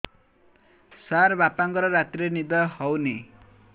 ସାର ବାପାଙ୍କର ରାତିରେ ନିଦ ହଉନି